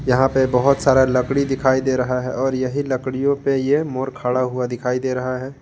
यहां पे बहोत सारा लकड़ी दिखाई दे रहा है और यही लकड़ियों पे ये मोर खड़ा हुआ दिखाई दे रहा है।